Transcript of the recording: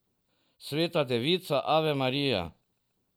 Sveta Devica, ave Marija.